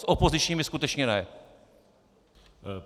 S opozičními skutečně ne.